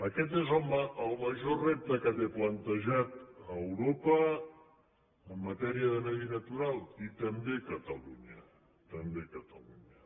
aquest és el major repte que té plantejat europa en matèria de medi natural i també catalunya també catalunya